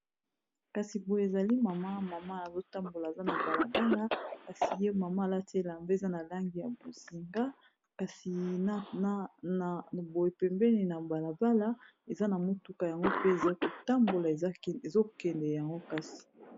Kasi boye ezali mama mama azotambola aza na balabala kasi ye mama alatela mpa eza na langi ya bozinga kasi boepembeni na balabala eza na motuka yango pe eza kotambola ezokende yango kasi.